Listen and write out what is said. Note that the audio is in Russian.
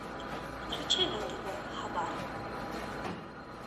включи на тв хабар